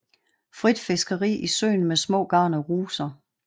Frit fiskeri i søen med små garn og ruser